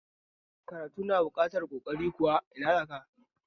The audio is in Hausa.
Karatu na buƙatar ƙoƙari kuwa?